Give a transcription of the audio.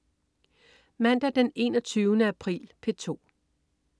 Mandag den 21. april - P2: